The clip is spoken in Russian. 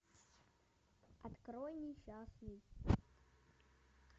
открой несчастный